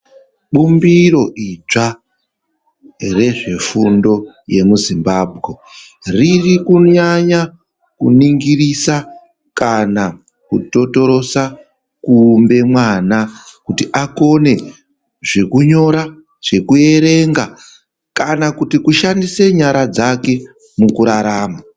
Bumbiro idzwa rezvefundo yemuzimbambe riri kunyanya kunongirisa kana kutotorosa kuumbe mwana. Kuti akone zvekunyora, zvekuerenga kana kuti kushandise nyara dzake mukurarama.